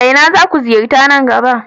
Ina zaku ziyarta nan gaba?